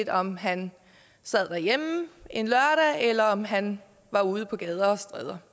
om han sad derhjemme en lørdag eller om han var ude på gader og stræder